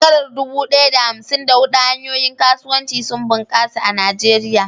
A shekarar dubu ɗaya da hamsin da huɗu, hanyoyin kasuwanci sun bunƙasa a Najeriya.